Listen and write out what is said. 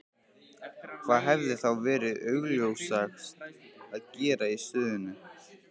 Hvað hefði þá verið augljósast að gera í stöðunni?